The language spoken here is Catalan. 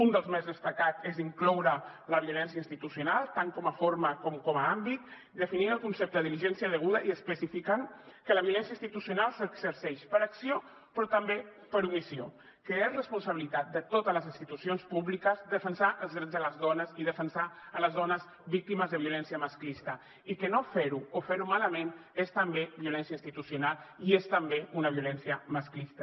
un dels més destacats és incloure la violència institucional tant com a forma com com a àmbit definir el concepte de diligència deguda i especificant que la violència institucional s’exerceix per acció però també per omissió que és responsabilitat de totes les institucions públiques defensar els drets de les dones i defensar les dones víctimes de violència masclista i que no fer ho o fer ho malament és també violència institucional i és també una violència masclista